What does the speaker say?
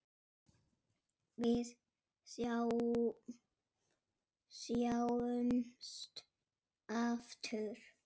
Við sjáumst aftur.